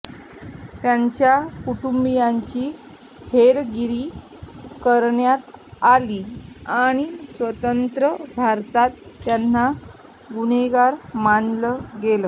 त्यांच्या कुटुंबियांची हेरगिरी करण्यात आली आणि स्वतंत्र भारतात त्यांना गुन्हेगार मानलं गेलं